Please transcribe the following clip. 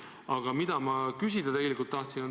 Aga ma tahtsin küsida selle kohta.